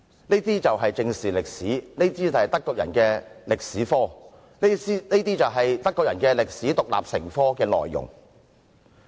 這便是正視歷史，是德國人的歷史科，是德國人把歷史獨立成科的內容。